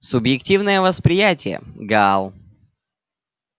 субъективное восприятие гаал